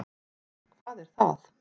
Ha, hvað er það.